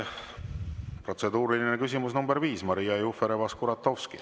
Protseduuriline küsimus nr 5, Maria Jufereva-Skuratovski.